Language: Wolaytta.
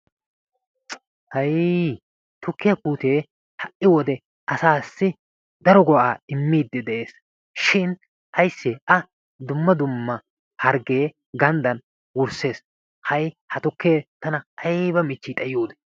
hayii! tukkiyaa puute ha'i wode asassi daro go''a immide de''ees, ayssi a dumma dumma hargge ganddan wurssees. hay ha tukke tana aybba michchi xayyiyoode.